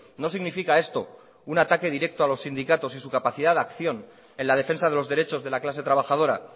no significa esto un ataque directo a los sindicatos y su capacidad de acción en la defensa de los derechos de la clase trabajadora